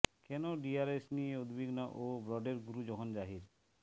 কেন ডিআরএস নিয়ে উদ্বিগ্ন ও ব্রডের গুরু যখন জাহির